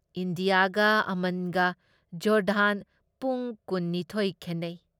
ꯏꯟꯗꯤꯌꯥꯒ ꯑꯃꯟꯒ ꯖꯣꯔꯗꯥꯟ ꯄꯨꯡ ꯀꯨꯟ ꯅꯤꯊꯣꯏ ꯈꯦꯟꯅꯩ ꯫